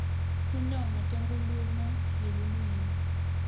tinongo tenkhulumo yeluwimi